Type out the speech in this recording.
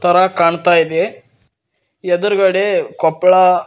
ತರ ಕಾಣ್ತಾ ಇದೆ ಎದುರುಗಡೆ ಕೊಪ್ಪಳ--